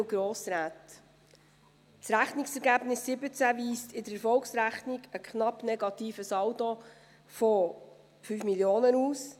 Das Rechnungsergebnis 2017 weist in der Erfolgsrechnung einen knapp negativen Saldo von 5 Mio. Franken aus.